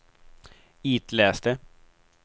itläs det